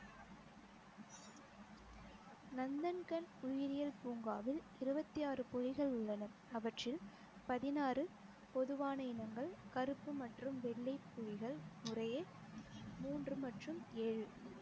நந்தன்கன் உயிரியல் பூங்காவில் இருவத்தி ஆறு புலிகள் உள்ளன அவற்றில் பதினாறு பொதுவான இனங்கள் கருப்பு மற்றும் வெள்ளை புலிகள் முறையே மூன்று மற்றும் ஏழு